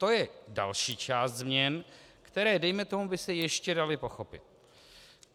To je další část změn, které dejme tomu by se ještě daly pochopit.